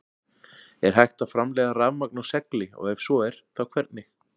Er hægt að framleiða rafmagn úr segli og ef svo er þá hvernig?